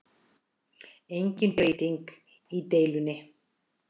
Engin breyting í deilunni